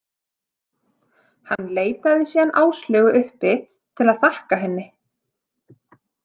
Hann leitaði síðan Áslaugu uppi til að þakka henni.